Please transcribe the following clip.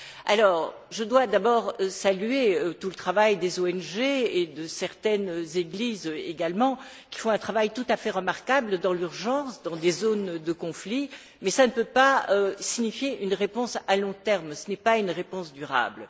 Alors, je dois d'abord saluer le travail des ONG et de certaines églises également, qui font un travail tout à fait remarquable dans l'urgence, dans des zones de conflits, mais cela ne peut pas signifier une réponse à long terme, ce n'est pas une réponse durable.